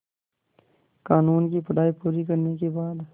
क़ानून की पढा़ई पूरी करने के बाद